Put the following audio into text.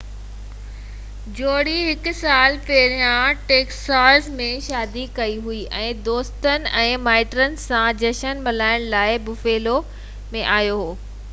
جوڙي هڪ سال پهريان ٽيڪساز ۾ شادي ڪئي هئي ۽ دوستن ۽ مائٽن سان جشن ملائڻ لاءِ بفيلو ۾ آيو هو